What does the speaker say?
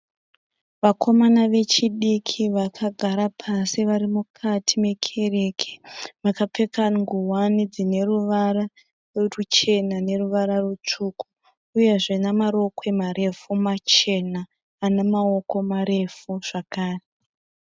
Vakomamana vechidiki vakagara pasi vari mukati mekereke. Vakapfeka nguwani dzine ruvara ruchena neruvara rutsvuku. Uyezve namarokwe marefu machena ane maoko marefu zvakare.